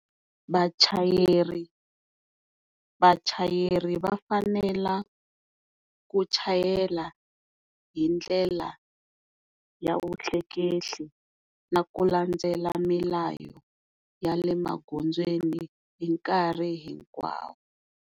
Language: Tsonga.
Vachayeri vachayeri va fanela ku chayela hi ndlela ya vutleketli na ku landzela milayo ya le magondzweni hi nkarhi hinkwawo.